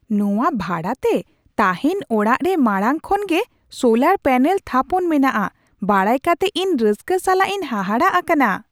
ᱱᱚᱶᱟ ᱵᱷᱟᱲᱟ ᱛᱮ ᱛᱟᱦᱮᱱ ᱚᱲᱟᱜ ᱨᱮ ᱢᱟᱲᱟᱝ ᱠᱷᱚᱱ ᱜᱮ ᱥᱳᱞᱟᱨ ᱯᱮᱱᱮᱞ ᱛᱷᱟᱯᱚᱱ ᱢᱮᱱᱟᱜᱼᱟ ᱵᱟᱲᱟᱭ ᱠᱟᱛᱮ ᱤᱧ ᱨᱟᱹᱥᱠᱟᱹ ᱥᱟᱞᱟᱜ ᱤᱧ ᱦᱟᱦᱟᱲᱟᱜ ᱟᱠᱟᱱᱟ ᱾